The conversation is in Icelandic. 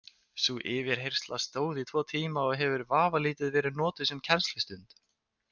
Sú yfirheyrsla stóð í tvo tíma og hefur vafalítið verið notuð sem kennslustund.